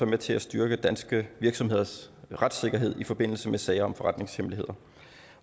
med til at styrke danske virksomheders retssikkerhed i forbindelse med sager om forretningshemmeligheder